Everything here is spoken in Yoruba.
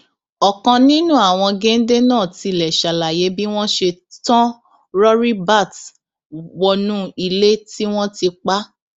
ọkan nínú àwọn géńdé náà tilẹ ṣàlàyé bí wọn ṣe tán rọríbat wọnú ilé tí wọn ti pa